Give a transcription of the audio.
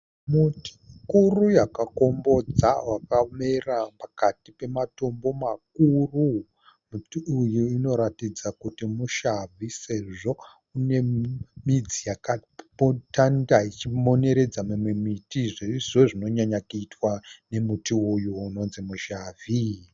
Muti mukuru wakakombodza wakamera pakati pematombo makuru. Muti uyu unoratidza kuti mutsamvi sezvo une midzi wakatanda uchimoneredza imwe miti zvirizvo zvinonyanyokuitwa nemuti uyu unonzi mutsamvi.